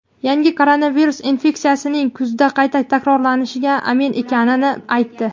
yangi koronavirus infeksiyasining kuzda qayta takrorlanishiga amin ekanini aytdi.